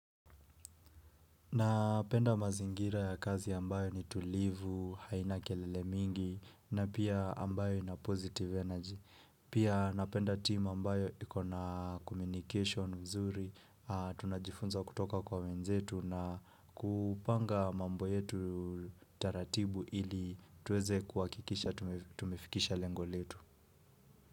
Napenda mazingira ya kazi ambayo ni tulivu, haina kelele mingi na pia ambayo ina positive energy. Pia napenda team ambayo ikona communication mzuri, tunajifunza kutoka kwa wenzetu na kupanga mambo yetu taratibu ili tuweze kuhakikisha tumefikisha lengo letu.